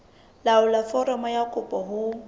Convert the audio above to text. laolla foromo ya kopo ho